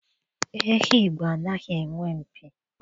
Ehi Igbo anaghị enwe mpi.